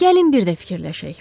Gəlin bir də fikirləşək.